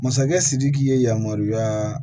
Masakɛ sidiki ye yamaruya